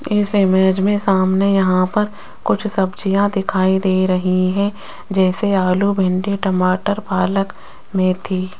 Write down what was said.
इस इमेज मे सामने यहां पर कुछ सब्जियां दिखाई दे रही है जैसे आलू भिंडी टमाटर पालक मेथी --